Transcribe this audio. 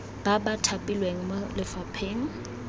ba ba thapilweng mo lefapheng